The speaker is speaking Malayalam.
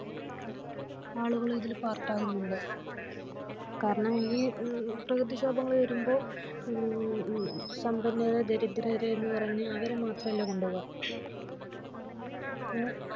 ആളുകളും ഇതിൽ പാർട്ട് ആകുന്നുണ്ട് കാരണം ഈ പ്രകൃതിക്ഷോഭങ്ങൾ വരുമ്പോ മ് സമ്പന്നർ ദാരിദ്രർ എന്ന് പറഞ്ഞ് അവരെ മാത്രമല്ല കൊണ്ടുപോവ ഏഹ്